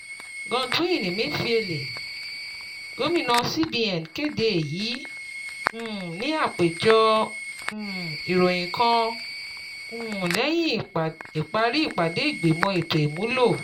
Godwin Emefiele, gomina CBN, kede eyi um ni apejọ um iroyin kan um lẹhin ipari ipade igbimọ eto imulo